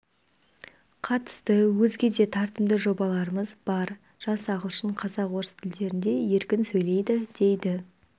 қатысты өзге де тартымды жобаларымыз бар жас ағылшын қазақ орыс тілдерінде еркін сөйлейді дейді